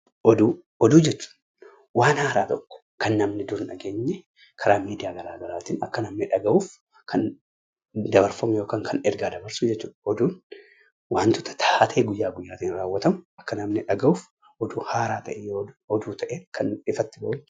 Oduu jechuun waan haaraa tokko kan namni dur hin dhageenye karaa miidiyaa garaa garaatiin akka namni dhagahuuf, kan dabarfamu yookiin kan ergaa dabarsu jechuudha. Oduun wantoota taatee guyyaa guyyaatiin raawwatamu akka namni dhagahuuf oduu ta'ee kan ifatti bahu jechuudha.